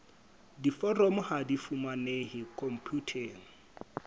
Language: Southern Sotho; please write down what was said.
diforomo ha di fumanehe khomputeng